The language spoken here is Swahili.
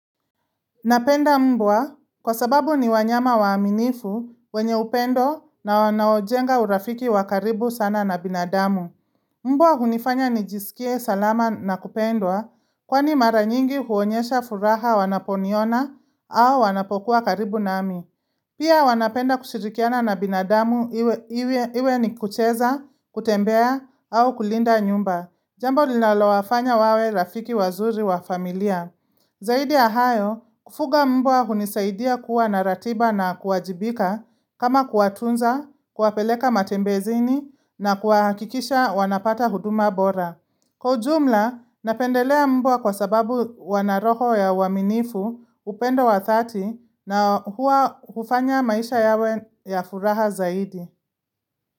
Napenda mbwa kwa sababu ni wanyama waaminifu wenye upendo na wanaojenga urafiki wakaribu sana na binadamu. Mbwa hunifanya nijisikie salama na kupendwa kwani mara nyingi huonyesha furaha wanaponiona au wanapokuwa karibu nami. Pia wanapenda kushirikiana na binadamu iwe ni kucheza, kutembea au kulinda nyumba. Jambo linaloafanya wawe rafiki wazuri wa familia. Zaidi ya hayo, kufuga mbwa hunisaidia kuwa naratiba na kuajibika kama kuatunza, kuwapeleka matembezini na kuahakikisha wanapata huduma bora. Kwaujumla, napendelea mbwa kwa sababu wanaroho ya waminifu upendo wa 30 na huwa hufanya maisha yawe ya furaha zaidi.